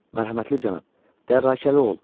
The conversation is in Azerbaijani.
Mərhəmətli cənab, dərrakəli ol.